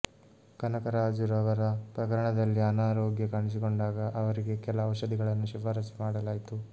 ಕನಕರಾಜುರವರ ಪ್ರಕರಣದಲ್ಲಿ ಅನಾರೋಗ್ಯ ಕಾಣಿಸಿಕೊಂಡಾಗ ಅವರಿಗೆ ಕೆಲ ಔಷಧಿಗಳನ್ನು ಶಿಫಾರಸು ಮಾಡಲಾಯಿತು